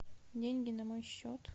деньги на мой счет